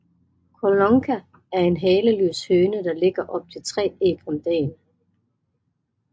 Collonca er en haleløs høne der lægger op til 3 æg om dagen